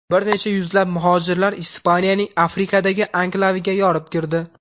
Bir necha yuzlab muhojirlar Ispaniyaning Afrikadagi anklaviga yorib kirdi.